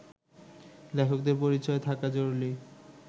লেখকদের পরিচয় থাকা জরুরি